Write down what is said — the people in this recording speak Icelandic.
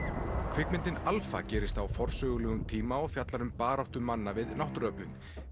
kvikmyndin gerist á forsögulegum tíma og fjallar um baráttu manna við náttúruöflin